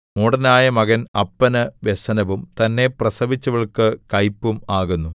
മൂഢനായ മകൻ അപ്പന് വ്യസനവും തന്നെ പ്രസവിച്ചവൾക്ക് കയ്പും ആകുന്നു